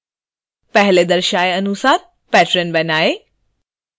पहले दर्शाए अनुसार patron बनाएँ